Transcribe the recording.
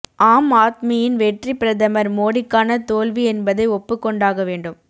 ஆம் ஆத்மியின் வெற்றி பிரதமர் மோடிக்கான தோல்வி என்பதை ஒப்புக்கொண்டாக வேண்டும்